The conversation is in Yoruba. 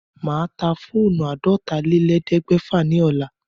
Màá ta fóónù àádọ́tálélẹ́ẹ̀ẹ́dẹ́gbẹ́fà ní ọ̀la.